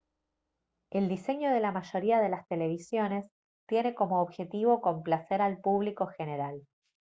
el diseño de la mayoría de las televisiones tiene como objetivo complacer al público general